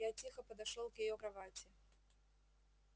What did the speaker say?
я тихо подошёл к её кровати